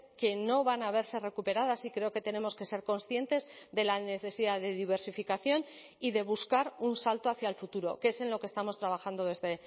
que no van a verse recuperadas y creo que tenemos que ser conscientes de la necesidad de diversificación y de buscar un salto hacia el futuro que es en lo que estamos trabajando desde